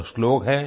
वह श्लोक है